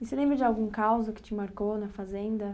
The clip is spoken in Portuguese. E você lembra de algum caos ou que te marcou na fazenda?